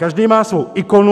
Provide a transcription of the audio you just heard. Každý má svou ikonu.